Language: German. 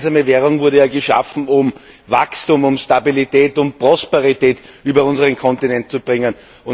Diese gemeinsame Währung wurde ja geschaffen, um Wachstum, Stabilität und Prosperität über unseren Kontinent zu bringen.